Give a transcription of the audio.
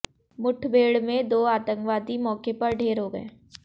मुठभेड़ में दो आतंकवादी मौके पर ढेर हो गए